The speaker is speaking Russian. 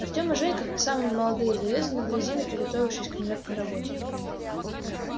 артём и женька как самые молодые залезли на дрезину приготовившись к нелёгкой работе